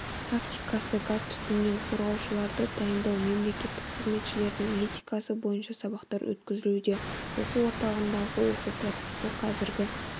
тактикасы газ түтіннен қорғаушыларды дайындау мемлекеттік қызметшілердің этикасы бойынша сабақтар өткізілуде оқу орталығындағы оқыту процесі қазіргі